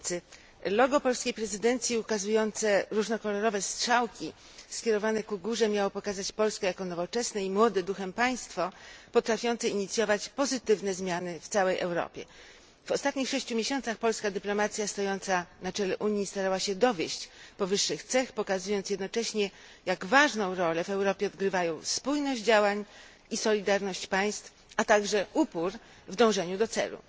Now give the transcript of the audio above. Panie Przewodniczący! Logo polskiej prezydencji ukazujące różnokolorowe strzałki skierowane ku górze miało pokazać Polskę jako nowoczesne i młode duchem państwo, potrafiące inicjować pozytywne zmiany w całej Europie. W ostatnich sześciu miesiącach polska dyplomacja stojąca na czele Unii starała się dowieść powyższych cech, pokazując jednocześnie, jak ważną rolę w Europie odgrywają spójność działań i solidarność państw, a także upór w dążeniu do celu.